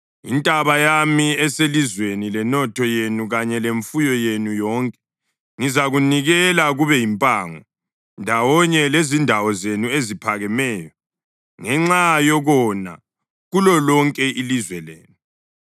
Intaba yami eselizweni lenotho yenu kanye lemfuyo yenu yonke ngizakunikela kube yimpango, ndawonye lezindawo zenu eziphakemeyo, ngenxa yokona kulolonke ilizwe lenu.